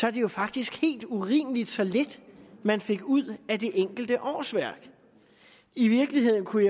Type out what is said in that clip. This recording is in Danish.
er det jo faktisk helt urimeligt så lidt man fik ud af det enkelte årsværk i virkeligheden kunne